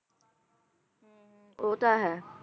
ਉਹ ਤਾਂ ਹੈ